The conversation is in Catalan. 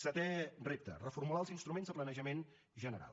setè repte reformular els instruments de planejament general